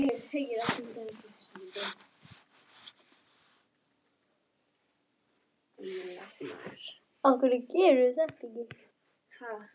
Leit svo upp og andvarpaði mæðulega.